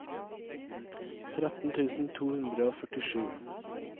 tretten tusen to hundre og førtisju